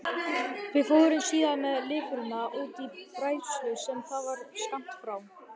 Við fórum síðan með lifrina út í bræðslu sem þar var skammt frá.